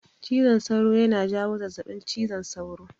Cizon sauro yana jawo zazzabin cizon sauro.